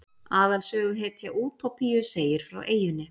Aðalsöguhetja Útópíu segir frá eyjunni.